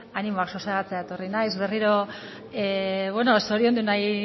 animoak sosegatzera etorri naiz berriro zoriondu nahi